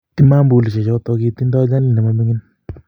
Tamambulishek choto kitindoi nyalil ne maming'in